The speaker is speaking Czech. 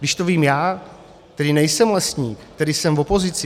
Když to vím já, který nejsem lesník, který jsem v opozici.